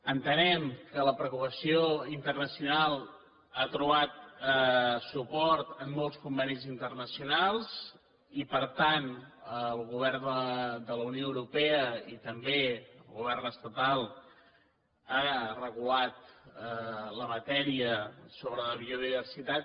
entenem que la preocupació internacional ha trobat suport en molts convenis internacionals i per tant el govern de la unió europea i també el govern estatal han regulat la matèria sobre la biodiversitat